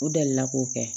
U dalila k'o kɛ